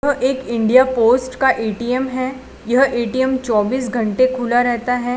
यहां एक India post का ए_टी_एम है यह ए_टी_एम चौबीस घंटे खुला रहता है।